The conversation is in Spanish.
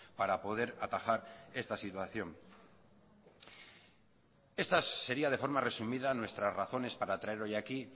para poder atajar esta situación esta sería de forma resumida nuestras razones para traer hoy aquí